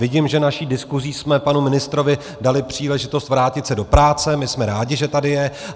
Vidím, že naší diskuzí jsme panu ministrovi dali příležitost vrátit se do práce, my jsme rádi, že tady je.